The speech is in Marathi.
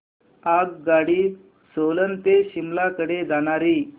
आगगाडी सोलन ते शिमला कडे जाणारी